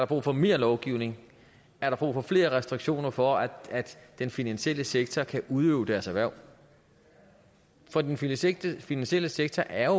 brug for mere lovgivning er der brug for flere restriktioner for at den finansielle sektor kan udøve deres erhverv for den finansielle finansielle sektor er